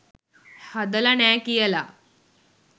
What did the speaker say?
හදල නෑ කියලා